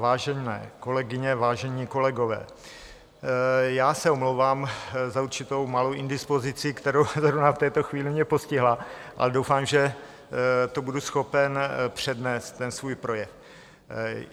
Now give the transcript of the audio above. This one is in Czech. Vážené kolegyně, vážení kolegové, já se omlouvám za určitou malou indispozici, která zrovna v této chvíli mě postihla, ale doufám, že to budu schopen přednést, ten svůj projev.